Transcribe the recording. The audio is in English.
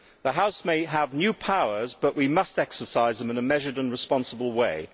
the House may have new powers but we must exercise them in a measured and responsible way.